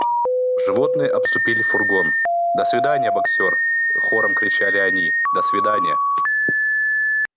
животные обступили фургон до свидания боксёр хором кричали они до свиданья